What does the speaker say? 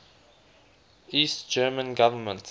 east german government